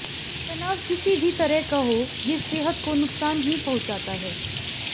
तनाव किसी भी तरह का हो ये सेहत को नुकसान ही पहुंचाता है